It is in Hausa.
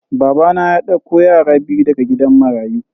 Babana ya dauko yara biyu daga gidan marayu.